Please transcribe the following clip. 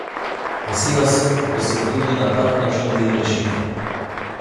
Vesela, da sem tudi na tak način del rešitve.